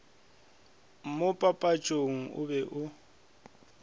mo papatšong o be o